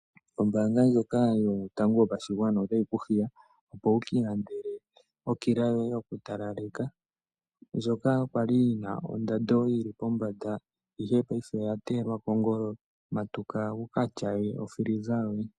Oombaanga ndjoka yotango yopashigwana otayi ku hiya opo wuki ilandele okila yoye yokutalaleka ndjoka kwali yi na ondando yili pombanda ihe paife oya teyelwa pengolo. Matuka wuka tyaye ofiliza yoye.